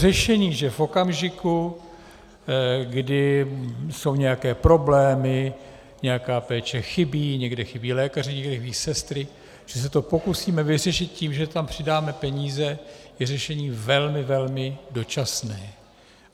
Řešení, že v okamžiku, kdy jsou nějaké problémy, nějaká péče chybí, někde chybí lékaři, někde chybí sestry, že se to pokusíme vyřešit tím, že tam přidáme peníze, je řešení velmi, velmi dočasné.